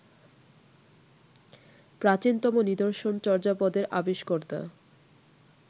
প্রাচীনতম নিদর্শন চর্যাপদের আবিষ্কর্তা